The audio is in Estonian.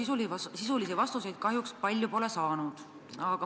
Sisulisi vastuseid kahjuks palju pole saanud.